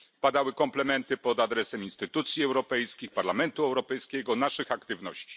Padały komplementy pod adresem instytucji europejskich, Parlamentu Europejskiego, naszych aktywności.